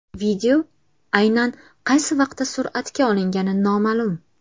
Video aynan qaysi vaqtda suratga olingani noma’lum.